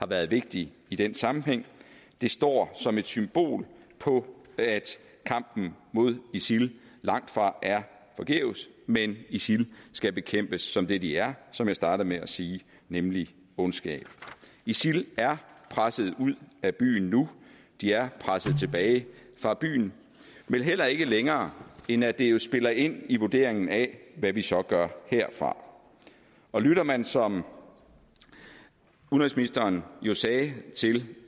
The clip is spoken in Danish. været vigtig i den sammenhæng den står som et symbol på at kampen mod isil langtfra er forgæves men isil skal bekæmpes som det de er som jeg startede med at sige nemlig ondskab isil er presset ud af byen nu de er presset tilbage fra byen men heller ikke længere end at det jo spiller ind i vurderingen af hvad vi så gør herfra og lytter man som udenrigsministeren sagde til